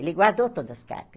Ele guardou todas cartas.